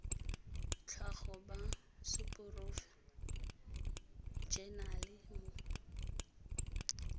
tlhago ba seporofe enale mo